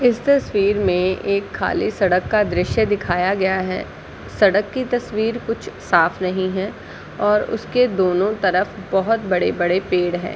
इस तस्वीर में एक खाली सड़क का दृश्य दिखाया गया है सड़क की तस्वीर कुछ साफ़ नहीं है और उसके दोनों तरफ बहुत बड़े -बड़े पेड़ हैं ।